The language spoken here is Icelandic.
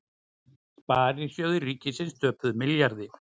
Sparisjóðir ríkisins töpuðu milljarði